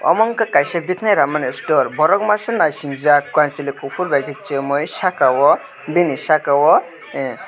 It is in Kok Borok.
mong ke kaisa bkanai ramani store borok masa nasijak kanchwlai kufur by chumui saka o bini saka o ahh.